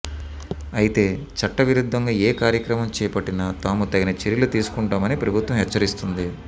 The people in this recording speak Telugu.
అయితే చట్ట విరుద్ధంగా ఏ కార్యక్రమం చేపట్టినా తాము తగిన చర్యలు తీసుకుంటామని ప్రభుత్వం హెచ్చరిస్తోంది